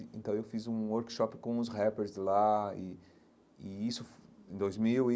E então, eu fiz um workshop com os rappers lá e e isso em dois mil e.